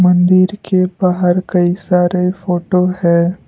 मंदिर के बाहर कई सारे फोटो है।